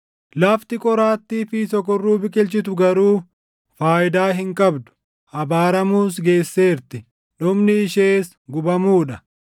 Lafti qoraattii fi sokorruu biqilchitu garuu faayidaa hin qabdu; abaaramuus geesseerti. Dhumni ishees gubamuu dha.